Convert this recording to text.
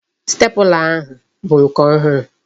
Sitepula ahụ bụ nke ọhụrụ